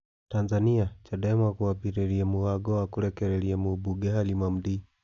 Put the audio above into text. Tanzania: Chadema kwambĩrĩria mũbango wa kũrekereria mumbunge Halima Mdee